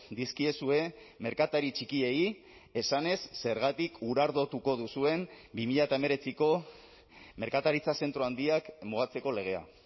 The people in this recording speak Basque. dizkiezue merkatari txikiei esanez zergatik urardotuko duzuen bi mila hemeretziko merkataritza zentro handiak mugatzeko legea